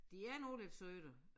De er nu lidt søde